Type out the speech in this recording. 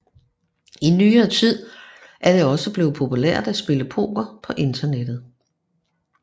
I nyere tid er det også blevet populært at spille poker på internettet